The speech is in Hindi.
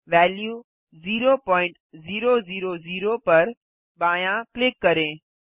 वेल्यू 0000 पर बायाँ क्लिक करें